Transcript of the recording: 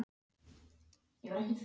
Er hún ekki bönnuð innan sextán?